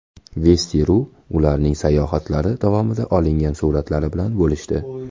Vesti.ru ularning sayohatlari davomida olingan suratlar bilan bo‘lishdi .